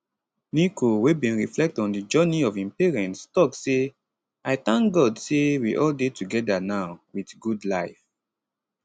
nico wey bin reflect on di journey of im parents tok say i tank god say we all dey togedanow wit good life